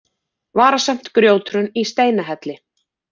Varasamt grjóthrun í Steinahelli